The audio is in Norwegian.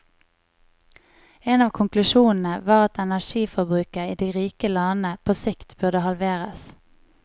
En av konklusjonene var at energiforbruket i de rike landene på sikt burde halveres.